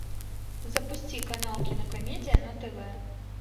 запусти канал кинокомедия на тв